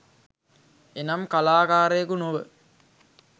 එනම් කලාකාරයකු නොව